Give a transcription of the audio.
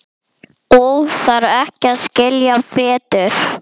Og þarf ekki að skilja betur.